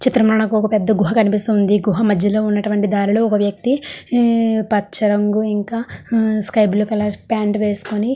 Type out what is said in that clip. ఈ చిత్రం లో నాకు ఒక పెద్ద గుహ కనిపిస్తుంది గుహ మధ్యలో ఉన్నటువంటి దారిలో ఒక వేక్తి హు పచ్చ రంగు ఇంకా హు స్కై బ్లూ కలర్ పాయింట్ వెస్కొని.